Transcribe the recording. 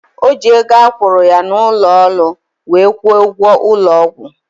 Ojii ego akwuru ya na ulo olu wee kwo ugwo ulo ogwu